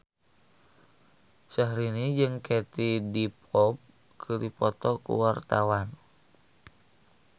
Syahrini jeung Katie Dippold keur dipoto ku wartawan